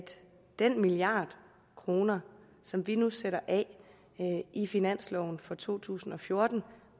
den milliard kroner som vi nu sætter af i finansloven for to tusind og fjorten